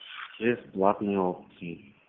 бесплатные опции